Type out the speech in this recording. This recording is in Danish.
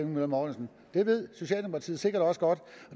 møller mortensen det ved socialdemokratiet sikkert også godt